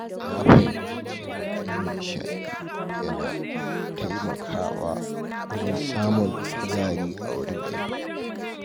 Na fahimci cewa yin nishaɗi yana taimakawa wajen samun kuzari a wurin aiki.